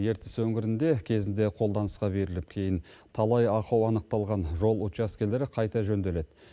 ертіс өңірінде кезінде қолданысқа беріліп кейін талай ахау анықталған жол учаскелері қайта жөнделеді